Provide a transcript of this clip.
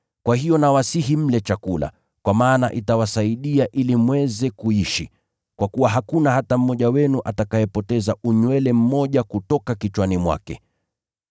Kwa hiyo nawasihi mle chakula, kwa maana itawasaidia ili mweze kuishi. Kwa kuwa hakuna hata mmoja wenu atakayepoteza unywele hata mmoja kutoka kichwani mwake.”